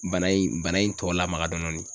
Bana in bana in tɔ lamaga dɔɔnin dɔɔnin.